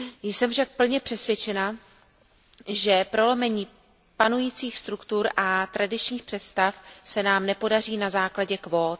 Jsem však plně přesvědčena, že prolomení panujících struktur a tradičních představ se nám nepodaří na základě kvót.